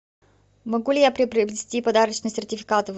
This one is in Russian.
могу ли я приобрести подарочный сертификат в